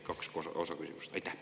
Kaks osa on küsimusel.